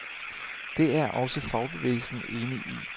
Det er også fagbevægelsen enig i.